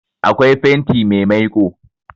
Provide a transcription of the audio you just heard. Akwai fenti mai maiko